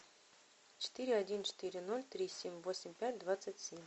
четыре один четыре ноль три семь восемь пять двадцать семь